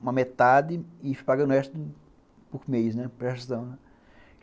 uma metade e fui pagando o resto por mês, né? prestação, né.